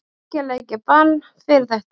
Þriggja leikja bann fyrir þetta?